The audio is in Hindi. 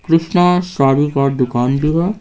कृष्णा सारि का दुकान द्वु अये ।